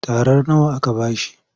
Tarar nawa aka ba shi?